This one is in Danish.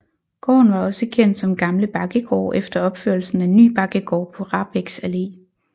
Gården var også kendt som Gamle Bakkegård efter opførelsen af Ny Bakkegård på Rahbeks Allé